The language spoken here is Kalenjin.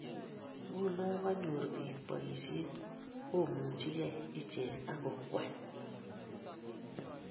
Nguno kanyor bik boishet, komuchikei iechek ak kong'wai